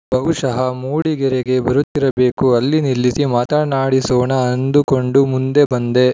ಬಹುಶಃ ಮೂಡಿಗೆರೆಗೆ ಬರುತ್ತಿರಬೇಕು ಅಲ್ಲಿ ನಿಲ್ಲಿಸಿ ಮಾತಾಡಿಸೋಣ ಅಂದುಕೊಂಡು ಮುಂದೆ ಬಂದೆ